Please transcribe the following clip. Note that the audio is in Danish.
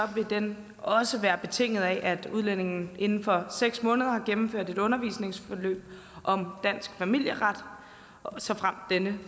vil den også være betinget af at udlændingen inden for seks måneder har gennemført et undervisningsforløb om dansk familieret såfremt denne